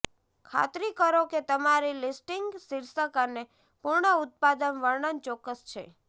ખાતરી કરો કે તમારી લિસ્ટિંગ શીર્ષક અને પૂર્ણ ઉત્પાદન વર્ણન ચોક્કસ છે